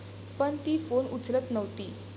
पण ती फोन उचलत नव्हती.